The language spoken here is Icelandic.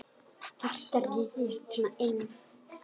Þarftu að ryðjast svona inn?